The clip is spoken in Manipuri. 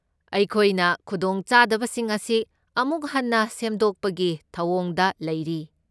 ꯑꯩꯈꯣꯏꯅ ꯈꯨꯗꯣꯡꯆꯥꯕꯁꯤꯡ ꯑꯁꯤ ꯑꯃꯨꯛ ꯍꯟꯅ ꯁꯦꯝꯗꯣꯛꯄꯒꯤ ꯊꯧꯑꯣꯡꯗ ꯂꯩꯔꯤ꯫